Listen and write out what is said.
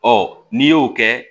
Ɔ n'i y'o kɛ